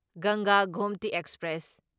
ꯒꯪꯒꯥ ꯒꯣꯝꯇꯤ ꯑꯦꯛꯁꯄ꯭ꯔꯦꯁ